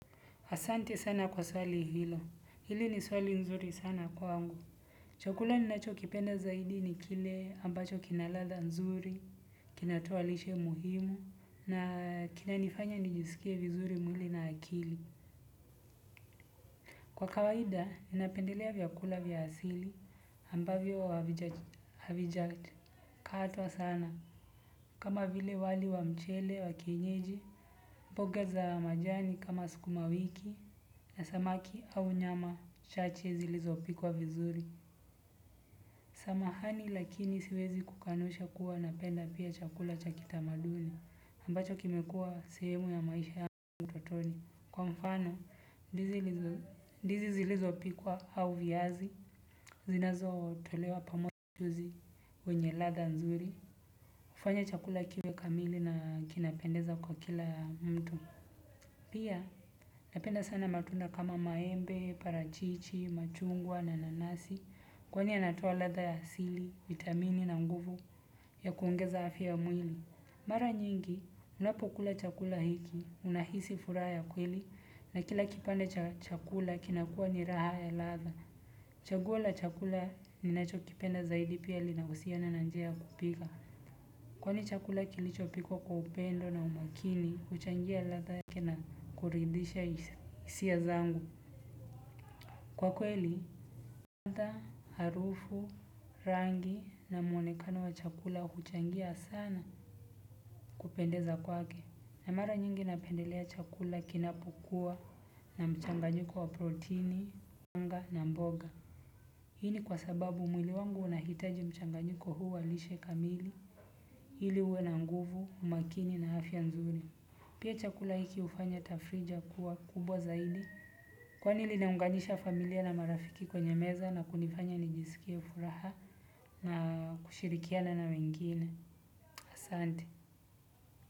Asante sana kwa swali hilo. Hili ni swali nzuri sana kwangu. Chakula ninachokipenda zaidi ni kile ambacho kina ladha nzuri, kinatoa lishe muhimu, na kinanifanya nijisikie vizuri mwili na akili. Kwa kawaida, ninapendelea vyakula vya asili ambavyo havijakatwa sana kama vile wali wa mchele wa kienyeji, mboga za majani kama sukuma wiki na samaki au nyama chache zilizopikwa vizuri. Samahani lakini siwezi kukanusha kuwa napenda pia chakula cha kitamaduni ambacho kimekuwa sehemu ya maisha ya utotoni. Kwa mfano, ndizi zilizopikwa au viazi zinazotolewa pamo zi wenye ladha nzuri hufanya chakula kiwe kamili na kinapendeza kwa kila mtu. Pia napenda sana matunda kama maembe, parachichi, machungwa na nanasi. Kwani yanatoa ladha ya asili, vitamini na nguvu ya kuongeza afya ya mwili. Mara nyingi, unapokula chakula hiki, unahisi furaha ya kweli na kila kipande cha chakula kinakuwa ni raha ya ladha. Chaguo la chakula ninachokipenda zaidi pia linahusiana na njia ya kupika. Kwani chakula kilichopikwa kwa upendo na umakini, huchangia ladha yake na kuridhisha hisia zangu. Kwa kweli, ladha, harufu, rangi na mwonekano wa chakula huchangia sana kupendeza kwake. Na mara nyingi napendelea chakula kinapokuwa na mchanganyiko wa protini, wanga na mboga. Hii ni kwa sababu mwili wangu unahitaji mchanganyiko huu wa lishe kamili. Ili uwe na nguvu, umakini na afya nzuri. Pia chakula hiki hufanya tafrija kuwa kubwa zaidi. Kwa niliunganisha familia na marafiki kwenye meza na kunifanya nijisikie furaha na kushirikiana na wengine. Asante.